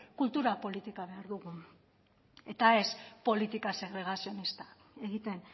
kultura politika behar dugu eta ez politika segregazionista egiten